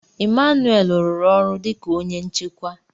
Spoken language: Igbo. Emmanuel rụrụ ọrụ dị ka onye nchekwa.